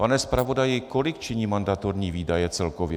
Pane zpravodaji, kolik činí mandatorní výdaje celkově?